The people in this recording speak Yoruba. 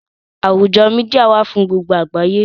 Àwùjọ Mídíà wà fún gbogbo àgbáyé